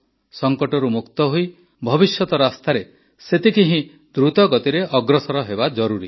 ସଙ୍କଟରୁ ମୁକ୍ତ ହୋଇ ଭବିଷ୍ୟତ ରାସ୍ତାରେ ସେତିକି ହିଁ ଦ୍ରୁତଗତିରେ ଅଗ୍ରସର ହେବା ଜରୁରୀ